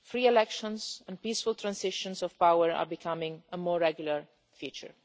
Free elections and peaceful transitions of power are becoming a more regular feature.